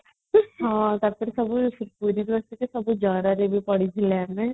ହଁ ତାପରେ ସବୁ